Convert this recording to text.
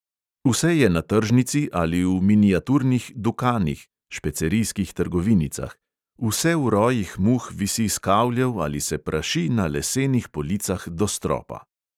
Vse je na tržnici ali v miniaturnih dukanih – špecerijskih trgovinicah – vse v rojih muh visi s kavljev ali se praši na lesenih policah do stropa.